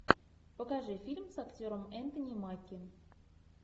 покажи фильм с актером энтони маки